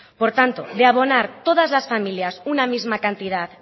por tanto de abonar todas las familias una misma cantidad